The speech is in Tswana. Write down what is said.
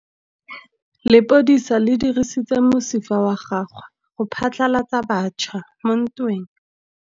Lepodisa le dirisitse mosifa wa gagwe go phatlalatsa batšha mo ntweng.